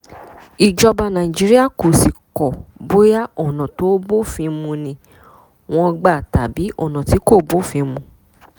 ìjọba nàìjíríà kò sì kọ́ bóyá ọ̀nà tó bófin mu ni wọ́n gbà tàbí ọ̀nà tí kò bófin mu